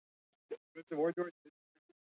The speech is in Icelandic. Þær eru í parís í mölinni hjá tröppunum.